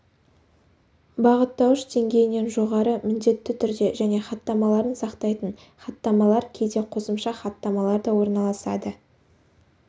бағыттауыш деңгейінен жоғары міндетті түрде және хаттамаларын сақтайтын хаттамалар кейде қосымша хаттамалар да орналасады